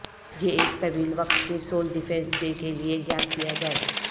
یہ ایک طویل وقت کے سول ڈیفنس ڈے کے لئے یاد کیا جائے